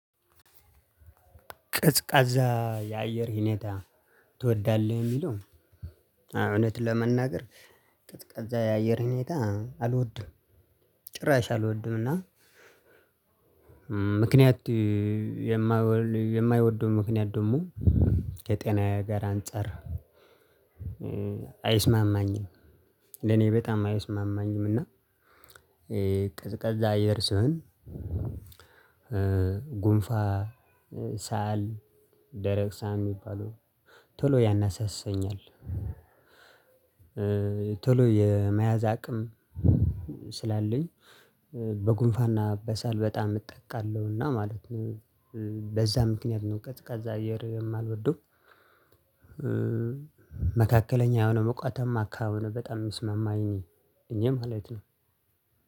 ቀዝቃዛ የአየር ሁኔታ ትወዳለህ? የሚለው እውነት ለመናገር ቀዝቃዛ የአየር ሁኔታ አልወድም። ጭራሽ አልወድምና ምክንያቱም የማልወድበት ምክንያት ደግሞ ከጤናዬ ጋር አንፃር አይስማማኝም። ለኔ በጣም አይስማማኝምና እና ቀዝቃዛ አየር ሲሆን ጉንፋን ሳል፣ ደረቅ ሳል የሚባለው ቶሎ ያነሳሳብኛል። ቶሎ የመያዝ አቅም ስላለኝ በጉንፋንና በሳል በጣም እጠቃለሁና ማለት ነው። በዛ ምክንያት ነው ቀዝቃዛ አየር የማልወደው። መካከለኛ የሆነ ሞቃታማ አካባቢ በጣም የሚስማማኝ እኔ ማለት ነው።